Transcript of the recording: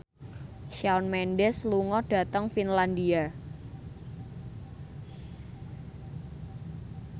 Shawn Mendes lunga dhateng Finlandia